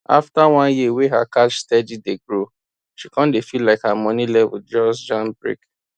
after one year wey her cash steady dey grow she come dey feel like her money level just jam brake